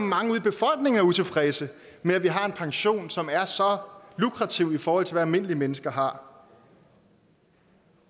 mange i befolkningen er utilfredse med at vi har en pension som er så lukrativ i forhold til hvad almindelige mennesker har